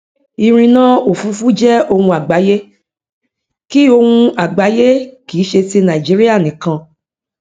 ìrìnà òfurufú jẹ ohun àgbáyé kì ohun àgbáyé kì í ṣe ti nàìjíríà nìkan